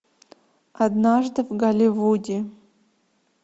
однажды в голливуде